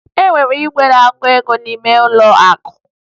E nwere igwe na-agụ ego n'ime ụlọ akụ